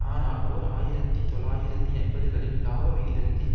ஆனால் ஓர் ஆயிரத்தி தொள்ளாயிரத்து எண்பதுகளில் இலாபவிகிதத்தில்